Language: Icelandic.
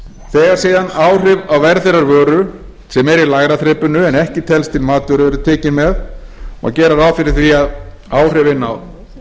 þegar síðan áhrif á verð þeirrar vöru sem er í lægra þrepinu en ekki telst til matvöru eru tekin með má gera ráð fyrir því að áhrifin á